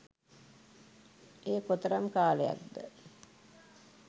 එය කෙතරම් කාලයක්ද